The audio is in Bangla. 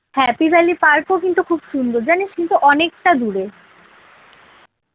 হ্যাঁ pvalley park ও কিন্তু খুব সুন্দর জানিস কিন্তু অনেকটা দূরে।